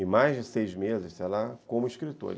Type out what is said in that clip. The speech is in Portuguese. e mais de seis meses, sei lá, como escritor.